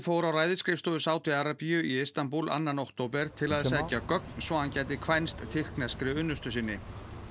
fór á ræðisskrifstofu Sádi Arabíu í Istanbúl annan október til að sækja gögn svo hann gæti kvænst tyrkneskri unnustu sinni